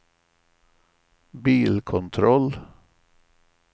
bilkontroll